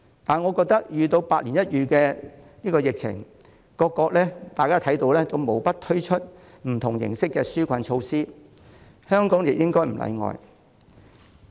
然而，面對百年一遇的疫情，大家也看到各國無不推出不同形式的紓困措施，我認為香港亦不應例外。